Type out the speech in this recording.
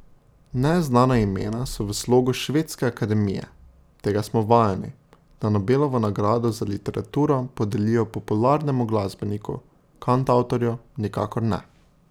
Neznana imena so v slogu Švedske akademije, tega smo vajeni, da Nobelovo nagrado za literaturo podelijo popularnemu glasbeniku, kantavtorju, nikakor ne.